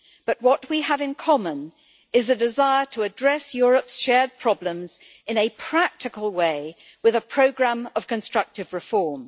But what we have in common is a desire to address Europe's shared problems in a practical way, with a programme of constructive reform.